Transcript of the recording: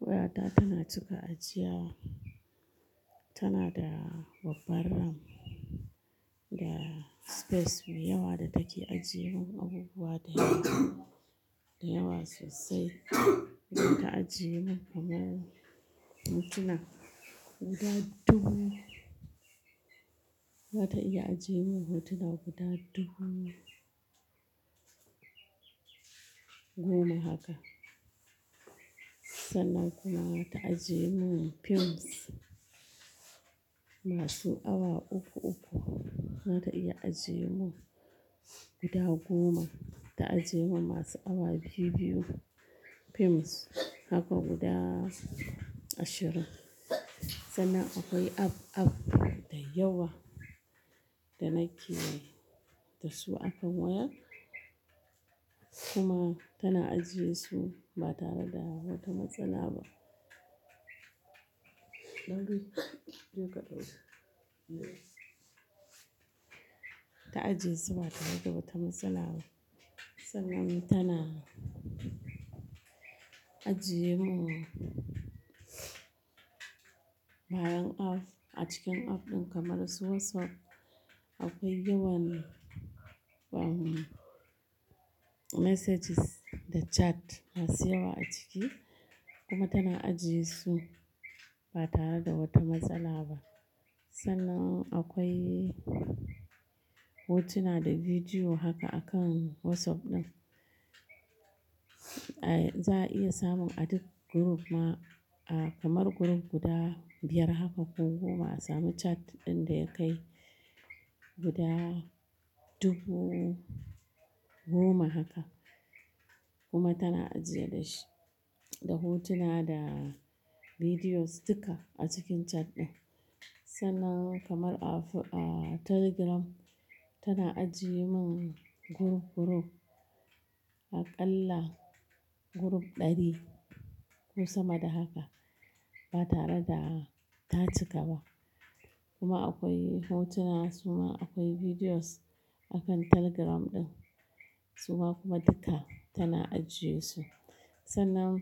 Wayata tana cika ajiya. Tana da babbar RAM da space mai yawa da take ajiyemin abubuwa da yawa, da yawa sosai. Ba ta ajiyemin kamar hotuna guda dubu, ba ta iya ajiyemin hotuna guda dubu goma haka. Sannan kuma ba ta ajiyemin films masu awa uku-uku. Ba ta iya ajiyemin guda goma. Ta ajiyemin masu awa biyu-biyu films haka guda ashirin. Sannan akwai app, app da yawa da nake da su akan waya. Kuma tana ajiyesu ba tare da wata matsala ba. Lauyi, je ka dauki. Ta ajiyesu ba tare da wata matsala ba, sannan tana ajiyemin bayan app a cikin app ɗin kamar su WhatsApp. Akwai yawan, umm, messages da chat masu yawa a ciki kuma tana ajiyesu ba tare da wata matsala ba. Sannan akwai hotuna da bidiyo haka akan WhatsApp ɗin. Eh, za a iya samun a duk group ma, ah, kamar group guda biyar haka ko goma a sami chat ɗin da ya kai guda dubu goma haka. Kuma tana ajiya da shi, da hotuna da bidiyos duka a cikin chat ɗin. Sannan kamar a Fu-- ah, Telegram tana ajiyemin group, group aƙalla group ɗari ko sama da haka ba tare da ta cika ba. Kuma akwai hotuna, su ma akwai bidiyos akan Telegram ɗin. Su ma kuma duka tana ajiyesu. Sannan